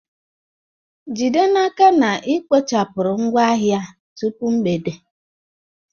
Jide n'aka na ị kpochapụrụ ngwaahịa a tupu mgbede!